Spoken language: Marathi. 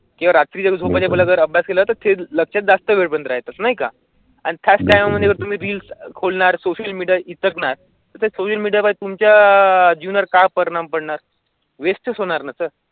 रात्री केल्याचे लक्षात जास्त वेळातच नाही का? आणि त्याच्यामध्ये तुम्ही रील्स खोलणार सोशल मीडिया इतकेच नाही तर तुमच्या जुन्नर काय परिणाम पडणार? वेस्ट होणार ना सर.